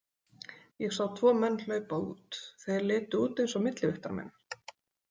Ég sá tvo menn hlaupa út, þeir litu út eins og millivigtarmenn.